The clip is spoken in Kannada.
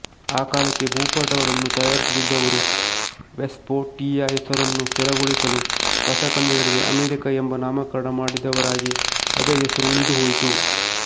ಆ ಕಾಲಕ್ಕೆ ಭೂಪಟಗಳನ್ನು ತಯಾರಿಸುತ್ತಿದ್ದವರು ವೆಸ್ಪೂಟ್ಚೀಯ ಹೆಸರನ್ನು ಸ್ಥಿರಗೊಳಿಸಲು ಹೊಸಖಂಡಗಳಿಗೆ ಅಮೆರಿಕ ಎಂಬ ನಾಮಕರಣ ಮಾಡಿದರಾಗಿ ಅದೇ ಹೆಸರು ಉಳಿದುಹೋಯಿತು